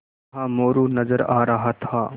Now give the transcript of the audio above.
वहाँ मोरू नज़र आ रहा था